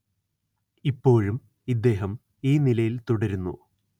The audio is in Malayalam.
ഇപ്പോഴും ഇദ്ദേഹം ഈ നിലയില്‍ തുടരുന്നു